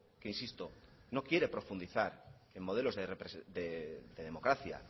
que insisto no quiere profundizar en modelos de democracia